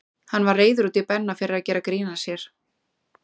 Hann var reiður út í Benna fyrir að gera grín að sér.